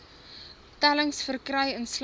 tellings verkry insluitende